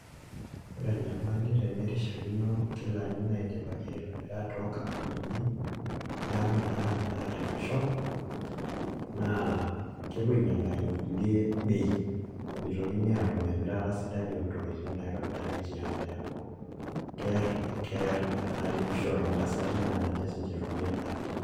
Ore enyamali te nerishakino inkilani naidipaki aitobira too nkampunini e ang' naaripisho naa kepuo ainyalaki nkulie bei meitokini atum emirata sidai naitobiriaki ti ang' neeku keer keer enaripishore oo ntasati naa ninye si ninje etumie edaa